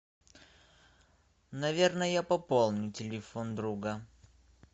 наверно я пополню телефон друга